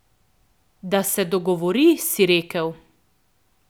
Da se dogovori, si rekel?